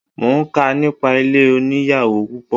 Mo ń kà nípa ilé oníyàwò púpọ̀.